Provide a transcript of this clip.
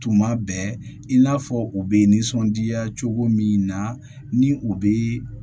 Tuma bɛɛ i n'a fɔ u bɛ nisɔndiya cogo min na ni u bɛ